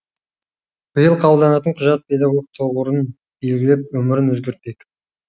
биыл қабылданатын құжат педагог тұғырын белгілеп өмірін өзгертпек